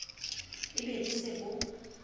e be bo se bo